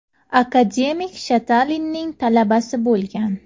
Akademik Shatalinning talabasi bo‘lgan.